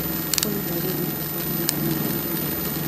Olly ndagũthaĩtha ũmbange macera na ndagĩtari wakwa